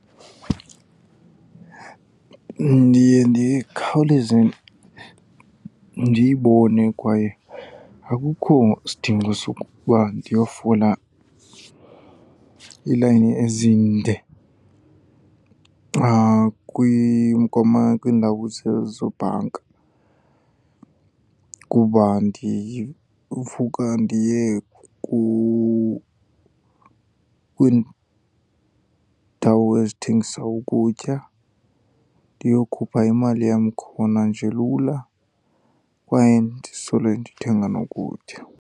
Ndiye ndikhawuleze ndiyibone kwaye akukho sidingo sokuba ndiyofola iilayini ezinde kwiindawo zobhanka, kuba ndivuka ndiye kwiindawo ezithengisa ukutya ndiyokhupha imali yam khona nje lula kwaye ndisole ndithenga nokutya.